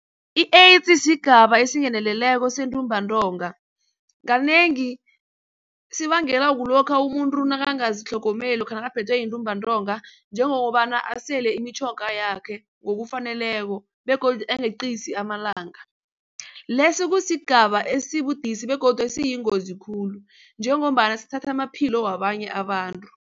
I-AIDS sigaba esingeneleleko sentumbantonga kanengi sibangela kulokha umuntu nakangazitlhgomeli lokha nakaphethwe yintumbantonga njengokobana asele imitjhoga yakhe ngokufaneleko begodu angeqisi amalanga. Leso kusigaba esibudisi begodu esiyingozi khulu njengombana sithatha amaphilo wabanye abantu.